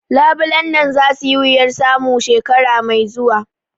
Labulen nan za su yi wuyan samu shekara mai zuwa